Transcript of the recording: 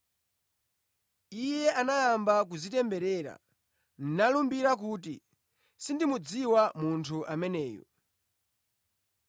Iye anayamba kudzitemberera, nalumbira kuti, “Sindimudziwa munthu ameneyu.”